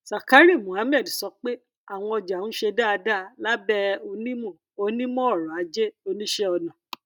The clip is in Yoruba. zakari mohammed sọ pé àwọn ọjà ń ṣe dáadáa lábẹ onímọ onímọ ọrọ ajé oníṣẹ ọnà